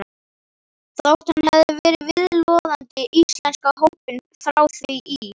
Þótt hann hefði verið viðloðandi íslenska hópinn frá því í